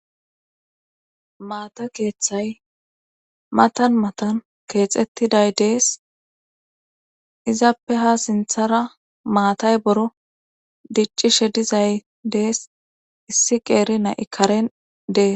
Maata keeththay matan matan keexettiday dees izappe ha sinthara maatay boro diccishe dizay dees issi qeeri na'i karen dees.